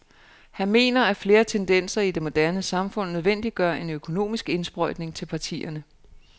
Han mener, at flere tendenser i det moderne samfund nødvendiggør en økonomisk indsprøjtning til partierne.